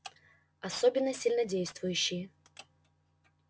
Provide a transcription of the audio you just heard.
особенно сильнодействующие